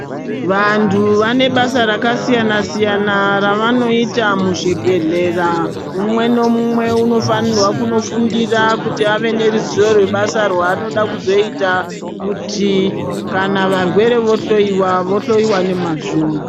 Vantu vane basa rakasiyana siyana ravanoita muzvibhedhlera mumwe nemumwe unofanirwa kunofundira kuti ave neruzivo rwebasa rwanoda kuzoita kuti kana varwere vohloyiwa vohloyiwa nomazvo.